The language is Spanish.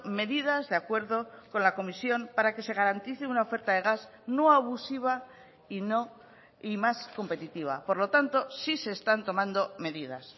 medidas de acuerdo con la comisión para que se garantice una oferta de gas no abusiva y no y más competitiva por lo tanto sí se están tomando medidas